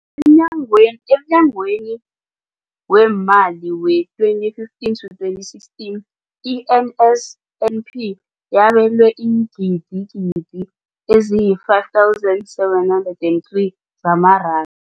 Emnyakeni weemali we-2015 to 2016, i-NSNP yabelwa iingidigidi ezi-5 703 zamaranda.